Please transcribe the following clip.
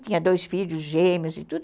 Tinha dois filhos gêmeos e tudo.